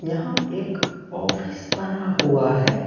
यहां एक ऑफिस बना हुआ है।